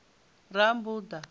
rammbuḓa